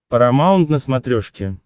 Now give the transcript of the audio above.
парамаунт на смотрешке